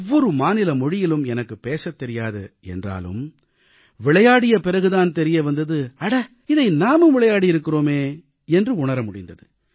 ஒவ்வொரு மாநில மொழியிலும் எனக்குப் பேசத் தெரியாது என்றாலும் விளையாடிய பிறகு தான் தெரிய வந்தது அட இதை நாமும் விளையாடியிருக்கிறோமே என்று உணர முடிந்தது